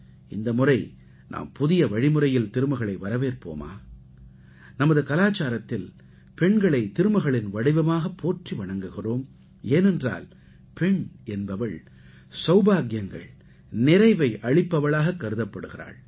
இந்த முறை நாம் புதிய வழிமுறையில் திருமகளை வரவேற்போமா நமது கலாச்சாரத்தில் பெண்களை திருமகளின் வடிவமாகப் போற்றி வணங்குகிறோம் ஏனென்றால் பெண் என்பவள் சௌபாக்கியங்கள் நிறைவை அளிப்பவளாகக் கருதப்படுகிறாள்